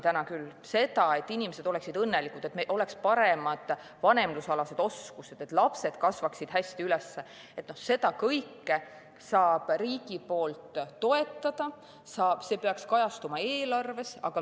Seda kõike, et inimesed oleksid õnnelikud, et neil oleks paremad vanemlusoskused, et lapsed kasvaksid hästi üles, saab riik toetada, see peaks kajastuma eelarves.